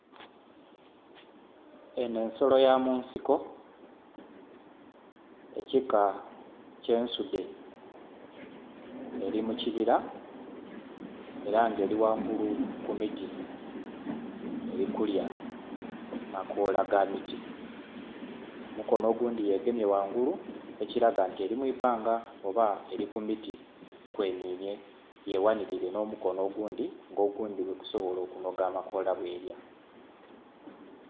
Enho ensolo ya mu nsiko ekika eky'ensudhe, eli mu kibira ela nga eli ghangulu ku miti, eri kulya makoola ga miti. Omukono ogundhi yegemye ghangulu ekiraga nti eli mu ibbanga oba eli ku muti kwenhinhye yeghanilire n'omukono ogundhi nga ogundhi bwegusobola okunoga amakoola bwelya.